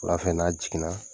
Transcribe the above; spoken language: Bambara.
Wulafɛ n'a jiginna,